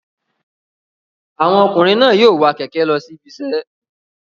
Àwọn ọkùnrin náà yóò wa kẹ̀kẹ́ lọ sí ibiṣẹ́